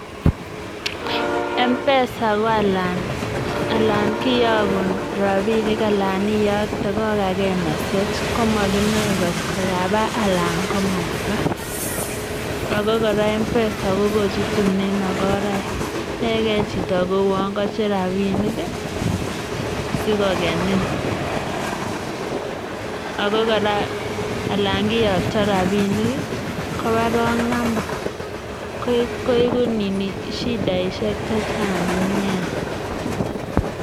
Mpesa ko alan kiyoogun rabinik, saitage kokagee message komokinoe angot kabaa anan ko mabaa, oko kora mpesa ko kochutunen makoraek. Yoege chito kouon kocher rabinik i,sikokeniin, oko kora alan kiyooktoo rabinik koba wrong namba, koiku shidaisiek chechang nia.